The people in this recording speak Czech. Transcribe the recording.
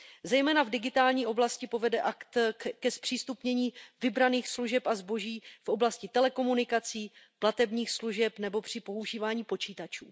Zejména v digitální oblasti povede akt ke zpřístupnění vybraných služeb a zboží v oblasti telekomunikací, platebních služeb nebo při používání počítačů.